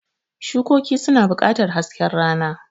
Shukoki suna buƙatar hasken rana.